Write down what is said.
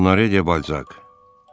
Onore de Balzac.